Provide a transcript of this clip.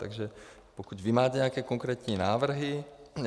Takže pokud vy máte nějaké konkrétní návrhy...